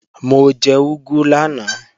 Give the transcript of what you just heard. Mo jẹ úgú lánàá